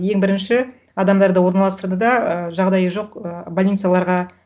ең бірінші адамдарды орналастырды да ы жағдайы жоқ ы больницаларға